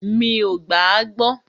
Mí o gbà à gbọ.